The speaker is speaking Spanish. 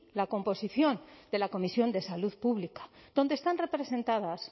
la composición de la comisión de salud pública donde están representadas